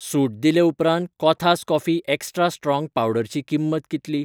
सूट दिले उपरांत कोथास कॉफी एक्स्ट्रा स्ट्रॉंग पावडरची किंमत कितली?